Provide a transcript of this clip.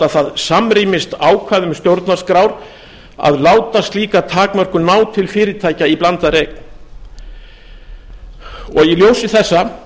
hvort það samrýmist ákvæðum stjórnarskrár að láta slíka takmörkun ná til fyrirtækja í blandaðri eign í ljósi þessa